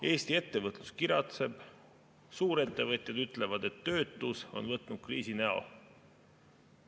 Eesti ettevõtlus kiratseb, suurettevõtjad ütlevad, et töötus on võtnud kriisi näo.